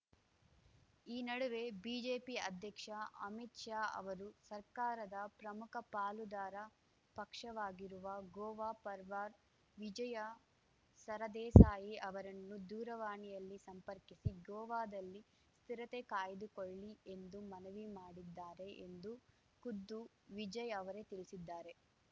ಈ ನಡುವೆ ಬಿಜೆಪಿ ಅಧ್ಯಕ್ಷ ಅಮಿತ್‌ ಶಾ ಅವರು ಸರ್ಕಾರದ ಪ್ರಮುಖ ಪಾಲುದಾರ ಪಕ್ಷವಾಗಿರುವ ಗೋವಾ ಪರ್ವಾರ್ ವಿಜಯ ಸರದೇಸಾಯಿ ಅವರನ್ನು ದೂರವಾಣಿಯಲ್ಲಿ ಸಂಪರ್ಕಿಸಿ ಗೋವಾದಲ್ಲಿ ಸ್ಥಿರತೆ ಕಾಯ್ದುಕೊಳ್ಳಿ ಎಂದು ಮನವಿ ಮಾಡಿದ್ದಾರೆ ಎಂದು ಖುದ್ದು ವಿಜಯ್‌ ಅವರೇ ತಿಳಿಸಿದ್ದಾರೆ